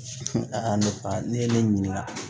A ne ba ne ye ne ɲininka